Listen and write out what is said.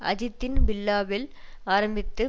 அஜித்தின் பில்லா வில் ஆரம்பித்து